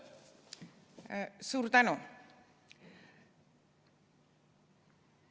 Suur tänu!